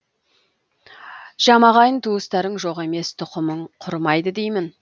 жамағайын туыстарың жоқ емес тұқымың құрымайды деймін